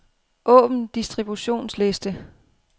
Åbn distributionsliste.